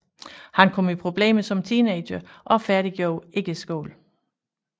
Han kom i problemer som teenager og færdiggjorde ikke skolen